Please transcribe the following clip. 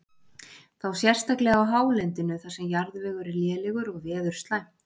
Þá sérstaklega á hálendinu þar sem jarðvegur er lélegur og veður slæmt.